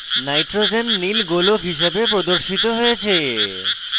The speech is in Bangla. nitrogen নীল গোলক হিসাবে প্রদর্শিত হয়েছে